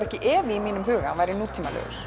ekki efi í mínum huga að hann væri nútímalegur